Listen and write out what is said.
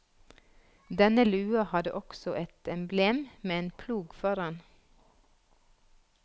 Denne lua hadde også et emblem med en plog foran.